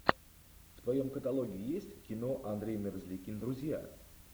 в твоем каталоге есть кино андрей мерзликин друзья